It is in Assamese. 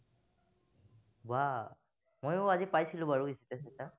বাহ, মইও আজি পাইছিলো বাৰু straight cut